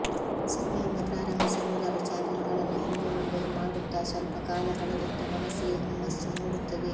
ಸೊನ್ನೆಯಿಂದ ಪ್ರಾರಂಭಿಸಿ ನೂರಾರು ಚಾನೆಲ್ ಗಳನ್ನು ಹಿಂದೆ ಮುಂದೆ ಮಾಡುತ್ತಾ ಸ್ವಲ್ಪ ಕಾಲಕಳೆದಂತೆ ಮನಸ್ಸಿಗೆ ಹುಮ್ಮಸ್ಸು ಮೂಡುತ್ತದೆ